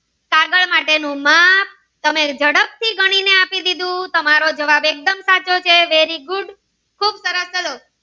કાગળ માટે નું માપ તમે જડપથી આપી દીધું તમારો ઝડપ એક દમ સાચો છે very good ખુબ સરસ ચાલો.